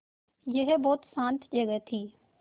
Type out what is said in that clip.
यह बहुत शान्त जगह थी